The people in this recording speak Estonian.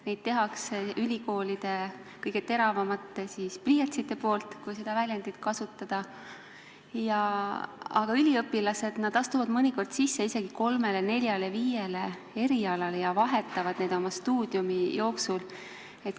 Neid teevad ülikoolide kõige teravamad pliiatsid – kasutan sedasama väljendit –, aga üliõpilased astuvad mõnikord sisse isegi kolmele, neljale või viiele erialale ja vahetavad neid oma stuudiumi jooksul.